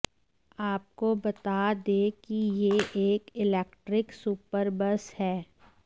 आपको बता दें कि यह एक इलेक्ट्रीक सुपरबस है